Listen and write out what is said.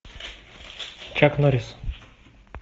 чак норрис